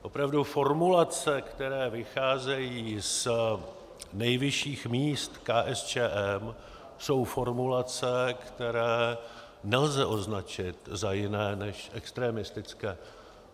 Opravdu formulace, které vycházejí z nejvyšších míst KSČM, jsou formulace, které nelze označit za jiné než extremistické.